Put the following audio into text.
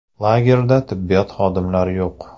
Lagerda tibbiyot xodimlari yo‘q.